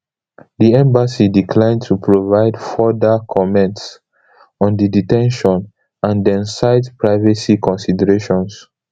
di embassy decline to provide further comments on di de ten tion and dem cite privacy considerations